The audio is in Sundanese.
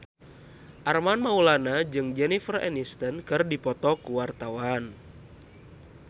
Armand Maulana jeung Jennifer Aniston keur dipoto ku wartawan